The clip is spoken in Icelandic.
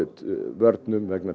vörnum vegna